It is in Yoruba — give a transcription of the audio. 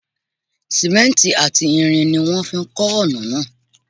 Sìmẹ́ǹtì àti irin ni wọ́n fi ń kọ́ ọ̀nà náà.